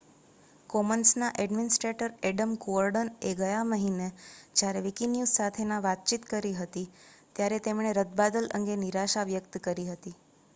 કોમન્સના administrator Adam Cuerden એ ગયા મહિને જયારે વિકિન્યૂઝ સાથે વાતચીત કરેલી ત્યારે તેમણે રદબાતલ અંગે નિરાશા વ્યક્ત કરી હતી